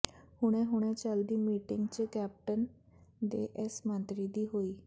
ਹੁਣੇ ਹੁਣੇ ਚਲਦੀ ਮੀਟਿੰਗ ਚ ਕੈਪਟਨ ਦੇ ਇਸ ਮੰਤਰੀ ਦੀ ਹੋਈ